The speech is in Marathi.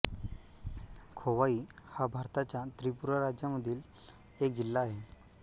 खोवाई हा भारताच्या त्रिपुरा राज्यामधील एक जिल्हा आहे